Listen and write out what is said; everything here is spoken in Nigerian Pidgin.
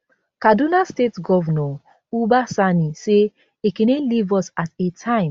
kaduna state govnor uba sani say ekene leave us at a time